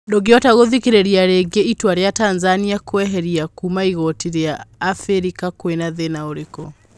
Ndũngĩhota gũthikĩrĩria rĩngĩ. Itua ria Tanzania kwĩeherĩa kuuma igoti rĩa Abirika kwĩna thĩna ũrĩkũ?